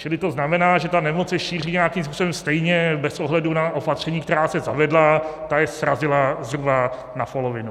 Čili to znamená, že ta nemoc se šíří nějakým způsobem stejně bez ohledu na opatření, která se zavedla, ta je srazila zhruba na polovinu.